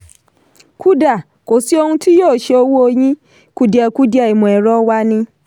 kuda: kò sí ohun tó yóò ṣe owó yín; kùdìẹ̀kudiẹ ìmọ̀-ẹ̀rọ wa ni.